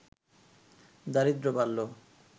দারিদ্র্য বাড়ল